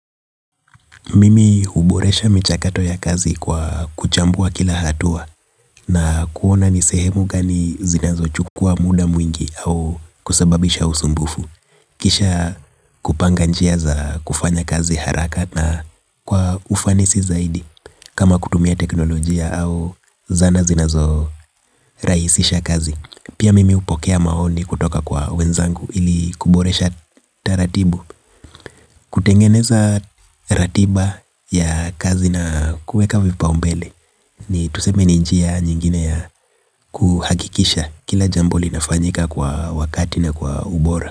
Mimi huboresha michakato ya kazi kwa kuchambua kila hatua na kuona nisehemu gani zinazo chukua muda mwingi au kusebabisha usumbufu. Kisha kupanga njia za kufanya kazi haraka na kwa ufanisi zaidi kama kutumia teknolojia au zana zinazo rahisisha kazi. Pia mimi hupokea maoni kutoka kwa wenzangu ili kuboresha taratibu. Kutengeneza ratiba ya kazi na kuweka vipaumbele hii tuseme ni njia nyingine ya kuhakikisha kila jambo linafanyika kwa wakati na kwa ubora.